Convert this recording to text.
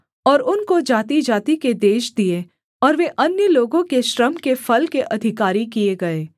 और उनको जातिजाति के देश दिए और वे अन्य लोगों के श्रम के फल के अधिकारी किए गए